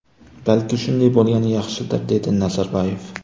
Balki, shunday bo‘lgani yaxshidir”, ― dedi Nazarboyev.